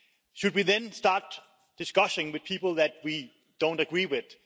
Should we then start discussions with people that we don't agree with?